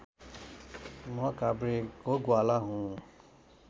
म काभ्रेको ग्वाला हुँ